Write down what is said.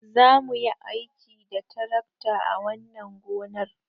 Za mu yi aiki da tarakta a wannan gonar.